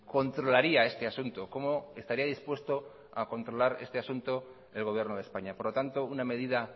controlaría este asunto cómo estaría dispuesto a controlar este asunto el gobierno de españa por lo tanto una medida